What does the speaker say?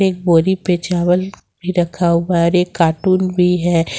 एक बोरी पे चावल भी रखा हुआ है और एक कार्टून भी है।